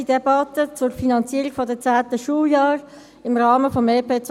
erste Debatte zur Finanzierung der 10. Schuljahre im Rahmen des EP 2018.